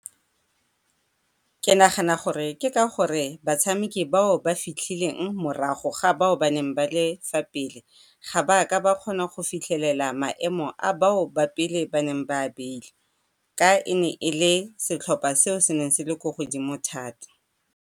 Ke nagana gore ke ka gore batshameki bao ba fitlhileng morago ga bao ba neng ba le fa pele ga ba ka ba kgona go fitlhelela maemo a bao ba pele ba neng ba a beile ka e ne e le setlhopha se se neng se le ko godimo thata.